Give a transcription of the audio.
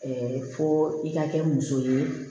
fo i ka kɛ muso ye